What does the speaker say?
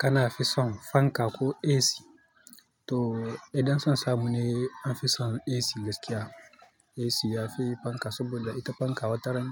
Kana ha fisan fanka ko AC to idan san samu ne na fi son AC gaskiya. AC yafi fanka saboda ita fanka wataran